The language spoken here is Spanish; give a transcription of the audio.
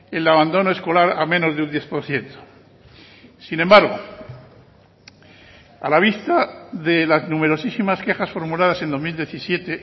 el abandono escolar a menos de un diez por ciento sin embargo a la vista de las numerosísimas quejas formuladas en dos mil diecisiete